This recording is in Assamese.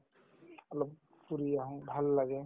অলপ ফুৰি আহো ভাল লাগে